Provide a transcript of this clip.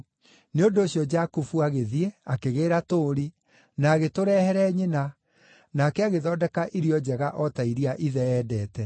Nĩ ũndũ ũcio Jakubu agĩthiĩ, akĩgĩĩra tũũri, na agĩtũrehere nyina, nake agĩthondeka irio njega o ta iria ithe eendete.